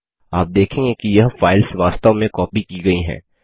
आप देखेंगे कि यह फाइल्स वास्तव में कॉपी की गई हैं